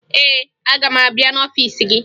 Ee, aga m abịa n'ọfiisi gị